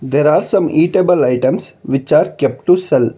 there are some eatable items which are kept to sell